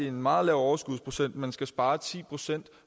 en meget lav overskudsprocent men skal spare ti procent